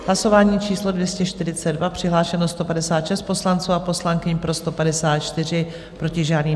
Hlasování číslo 242, přihlášeno 156 poslanců a poslankyň, pro 154, proti žádný.